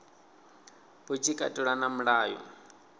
hu tshi katelwa na mulayo